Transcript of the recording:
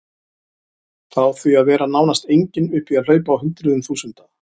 Frá því að vera nánast engin upp í að hlaupa á hundruðum þúsunda.